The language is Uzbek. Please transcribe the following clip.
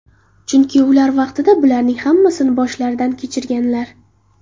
Chunki ular vaqtida bularning hammasini boshlaridan kechirganlar.